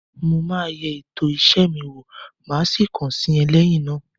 Mo máa yẹ ètò iṣẹ́ mi wó, máa sì kàn sí ọ lẹ́yìn náà.